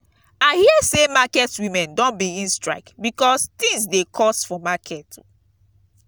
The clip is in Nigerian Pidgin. i hear sey market women don begin strike because tins dey cost for market.